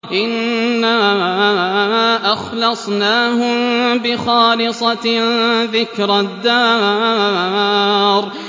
إِنَّا أَخْلَصْنَاهُم بِخَالِصَةٍ ذِكْرَى الدَّارِ